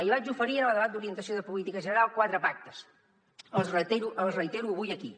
li vaig oferir en el debat d’orientació de política general quatre pactes els reitero avui aquí